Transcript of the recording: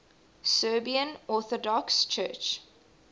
serbian orthodox church